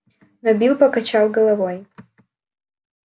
но билл покачал головой